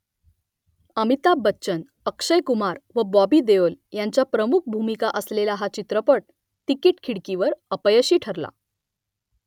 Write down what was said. अमिताभ बच्चन अक्षय कुमार व बॉबी देओल ह्यांच्या प्रमुख भूमिका असलेला हा चित्रपट तिकिट खिडकीवर अपयशी ठरला